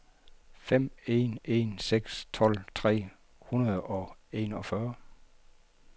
fem en en seks tolv tre hundrede og enogfyrre